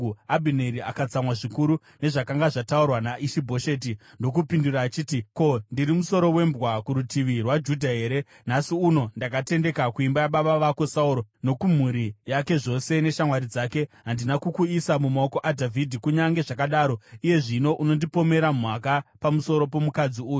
Abhineri akatsamwa zvikuru nezvakanga zvataurwa naIshi-Bhosheti ndokupindura achiti, “Ko, ndiri musoro wembwa kurutivi rwaJudha here? Nhasi uno ndakatendeka, kuimba yababa vako Sauro nokumhuri yake zvose neshamwari dzake. Handina kukuisa mumaoko aDhavhidhi. Kunyange zvakadaro iye zvino unondipomera mhaka pamusoro pomukadzi uyu!